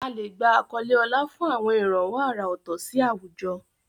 A lè gba àwọn àkọlé ọlá fún àwọn ìrànwọ́ àrà ọ̀tọ̀ sí àwùjọ.